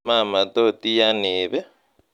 mama tot iyan iib ii